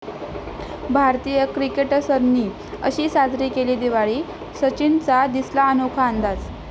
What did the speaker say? भारतीय क्रिकेटर्सनी अशी साजरी केली दिवाळी, सचिनचा दिसला अनोखा अंदाज